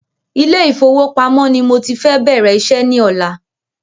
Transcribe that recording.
Ilé ìfọwọ́pamó ni mọ ti fẹ bẹ̀rẹ̀ iṣẹ́ ní ọ̀la